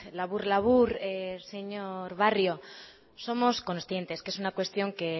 labur labur señor barrio somos conscientes que es una cuestión que